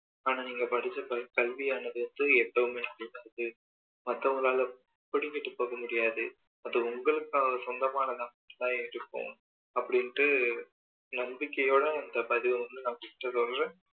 ஆனா நீங்க படிச்ச படிப்பு கல்வியானது எதுவுமே மத்தவங்களால பிடிங்கிட்டு போக முடியாது அது உங்களுக்கு சொந்தமானதா மட்டும் தான் இருக்கும் அப்படின்னு நம்பிக்கையோட இந்த பதிவ வந்து உங்ககிட்ட சொல்றேன்